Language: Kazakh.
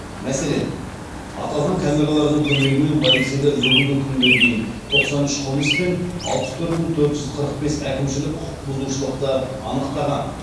мәселен аталған камералардың көмегімен полицейлер бүгінгі күнге дейін тоқсан үш қылмыс пен алпыс төрт мың төрт жүз қырық бес әкімшілік құқық бұзушылықты анықтаған